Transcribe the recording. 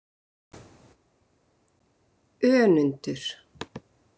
Önundur